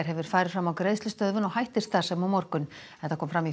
hefur farið fram á greiðslustöðvun og hættir starfsemi á morgun þetta kom fram